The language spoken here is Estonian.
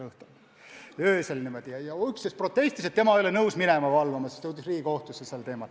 Üks inimene protestis, et tema ei ole nõus minema valvama, ja asi jõudis Riigikohtusse.